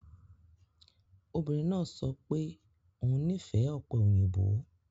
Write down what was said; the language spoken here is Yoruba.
Obìnrin náà sọ pé òun nífẹ̀ẹ́ ope oyinbo